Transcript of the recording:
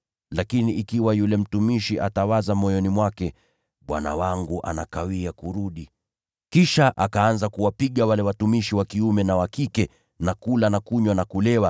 Lakini kama yule mtumishi atasema moyoni mwake, ‘Bwana wangu anakawia kurudi,’ kisha akaanza kuwapiga wale watumishi wa kiume na wa kike, na kula na kunywa na kulewa.